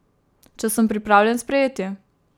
Če sem pripravljen sprejeti.